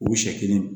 U siɲɛ kelen